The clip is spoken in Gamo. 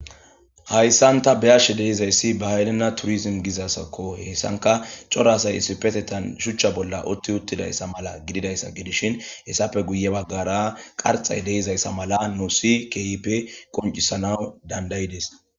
hayssan ta beyashe deizayssi bahaylenna turism gizasakko hessanka coro asay isipetetan shuchcha bolla otti uttidayssa mala gididayssa gidishin hessappe guye baggara qarxay deizayssa mala nu si kehipe qoncisanaw dandayides